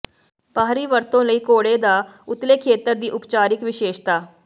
ਬਾਹਰੀ ਵਰਤੋਂ ਲਈ ਘੋੜੇ ਦਾ ਉਤਲੇ ਖੇਤਰ ਦੀ ਉਪਚਾਰਿਕ ਵਿਸ਼ੇਸ਼ਤਾ